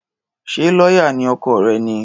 Ṣé lọ́yà ni ọkọ rẹ̀ ni?